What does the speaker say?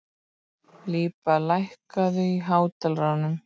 Líba, lækkaðu í hátalaranum.